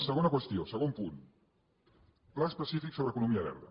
segona qüestió segon punt pla específic sobre economia verda